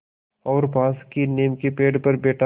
और पास की नीम के पेड़ पर बैठा